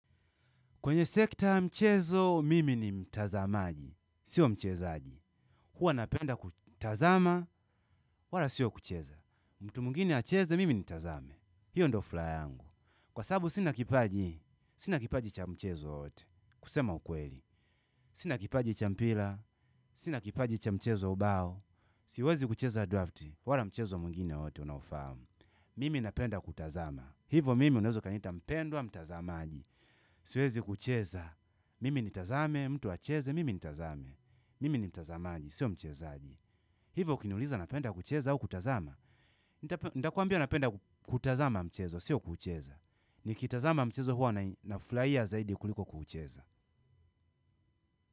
Kwenye sekta mchezo, mimi ni mtazamaji. Sio mchezaji. Huwa napenda kutazama, wala sio kucheza. Mtu mwingine acheze, mimi nitazame. Hio ndo furaha yangu. Kwa sababu sina kipaji, sina kipaji cha mchezo wowote kusema ukweli. Sina kipaji cha mpira, sina kipaji cha mchezo wa ubao. Siwezi kucheza drafti, wala mchezo mwingine wowote unaofahamu. Mimi napenda kutazama. Hivo mimi unaeza ukaniita mpendwa mtazamaji. Siwezi kucheza. Mimi nitazame, mtu acheze, mimi nitazame mimi ni mtazamaji, sio mchezaji hivo ukiniuliza napenda kucheza au kutazama. Ntakuambia napenda kutazama mchezo, sio kucheza nikitazama mchezo huwa nafurahia zaidi kuliko kucheza.